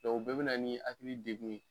Dɔ o bɛɛ bɛ na ni hakili degun ye